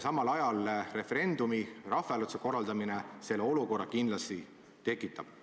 Samal ajal referendumi, rahvahääletuse korraldamine sellise olukorra kindlasti tekitab.